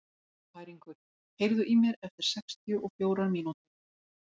Bæringur, heyrðu í mér eftir sextíu og fjórar mínútur.